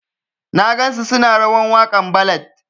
Na gan su suna rawan wakan ballad.